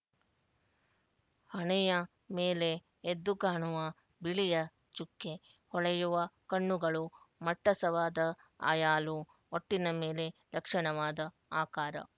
ಹಣೆಯ ಮೇಲೆ ಎದ್ದು ಕಾಣುವ ಬಿಳಿಯ ಚುಕ್ಕೆ ಹೊಳೆಯುವ ಕಣ್ಣುಗಳು ಮಟ್ಟಸವಾದ ಆಯಾಲು ಒಟ್ಟಿನ ಮೆಲೆ ಲಕ್ಷಣವಾದ ಆಕಾರ